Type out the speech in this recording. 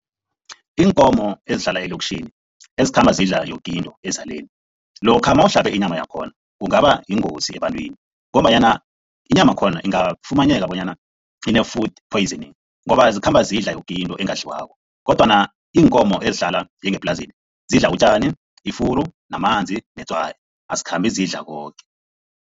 Iinkomo ezihlala eloktjhini, ezikhamba zidla yoke into ezaleni, lokha mawuhlabe inyama yakhona kungaba yingozi ebantwini ngombanyana inyamakhona ingafumaneka bonyana ine-food poisoning ngoba zikhamba zidla yoke into engadliwako kodwana iinkomo ezihlala njengeplasini zidla utjani, ifuru namanzi netswayi, azikhambi zidla koke.